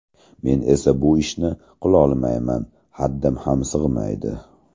Men esa bu ishni qilolmayman, haddim ham sig‘maydi.